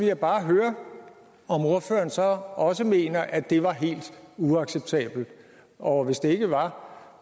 jeg bare høre om ordføreren så også mener at det var helt uacceptabelt og at hvis det ikke var